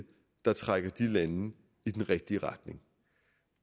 trækker de lande i den rigtige retning